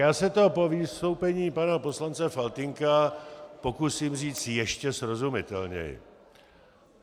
Já se to po vystoupení pana poslance Faltýnka pokusím říct ještě srozumitelněji.